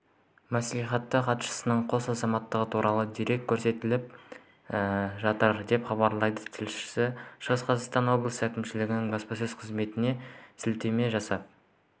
мәслихаты хатшысының қос азаматтығы туралы дерек тексеріліп жатыр деп хабарлайды тілшісі шығыс қазақстан облысы әкімінің баспасөз қызметіне сілтеме жасап